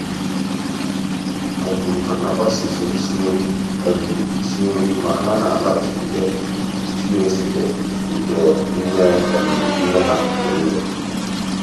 há nà-àgbásò usoro ísí nri ísí nri mà há nà-álághàchíkwùtè stew recipe nke nnè nnè há mgbe nìile.